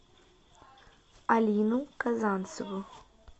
алину казанцеву